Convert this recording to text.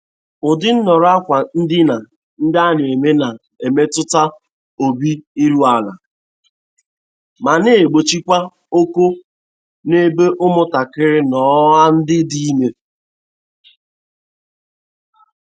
Ụdị nhọrọ akwa ndina ndị ana-eme na-emetụta obi iru ala ma na-egbochikwa ọkọ n'ebe ụmụ ntakịrị no a ndị dị ime.